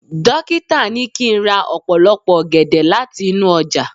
dokita ni kín ra opolopo ògèdè lati inú ojà